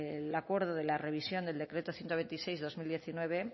el acuerdo de la revisión del decreto ciento veintiséis barra dos mil diecinueve